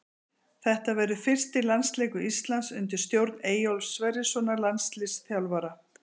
Þetta verður fyrsti landsleikur Íslands undir stjórn Eyjólfs Sverrissonar landsliðsþjálfara.